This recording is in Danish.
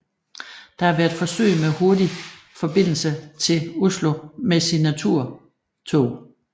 Der har været forsøg med hurtige forbindelse til Oslo med Signaturtog